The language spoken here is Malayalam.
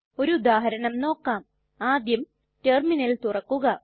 ഒരു ഉദാഹരണം നോക്കാം ആദ്യം ടെർമിനൽ തുറക്കുക